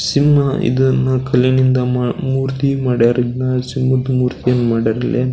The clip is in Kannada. ಸಿಂಹ ಇದನ್ನ ಕಲ್ಲಿನಿಂದ ಮೂರ್ತಿ ಮಾಡ್ಯಾರ ಇದನ್ನ ಸಿಂಹದ ಮೂರ್ತಿ ಹ್ಯಾಂಗ ಮಾಡ್ಯಾರ ಇಲ್ಲಿ.